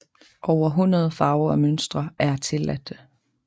Over hundrede farver og mønstre er tilladte